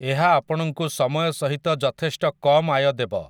ଏହା ଆପଣଙ୍କୁ ସମୟ ସହିତ ଯଥେଷ୍ଟ କମ୍ ଆୟ ଦେବ ।